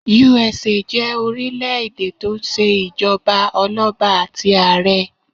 USA jé orílẹ̀ èdè tó n se ìjọba ọlọ́ba àti àrẹ